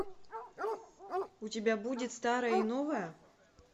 у тебя будет старое и новое